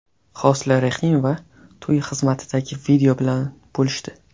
Hosila Rahimova to‘y xizmatidagi video bilan bo‘lishdi.